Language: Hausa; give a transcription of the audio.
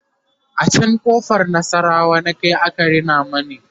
a can ƙofar nasarawa na Kai aka Rina mani